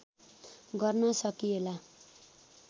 गर्न सकिएला